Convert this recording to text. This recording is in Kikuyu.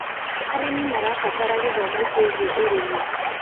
Arĩmĩ marabatara gĩthomo kĩĩgĩe ũrĩmĩ